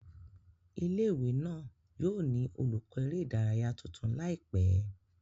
Ile-iwe náà yóò ni olukọ ere idaraya tuntun laipẹ